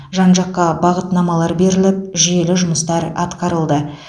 жан жаққа бағытнамалар беріліп жүйелі жұмыстар атқарылды